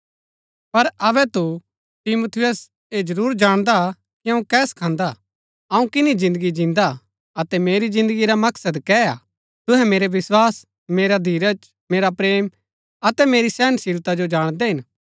पर अबै तू तिमुथियुस ऐ जरूर जाणदा हा कि अऊँ कै सखान्‍दा अऊँ किनी जिन्दगी जिन्दा अतै मेरी जिन्दगी रा मकसद कै है तुहै मेरै विस्वास मेरा धीरज मेरा प्रेम अतै मेरी सहनशीलता जो जाणदै हिन